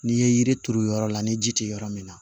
N'i ye yiri turu yɔrɔ la ni ji tɛ yɔrɔ min na